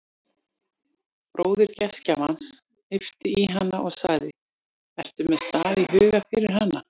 Bróðir gestgjafans hnippti í hana og sagði: ertu með stað í huga fyrir hana?